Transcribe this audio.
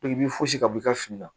i b'i fosi ka bɔ i ka fini la